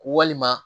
Walima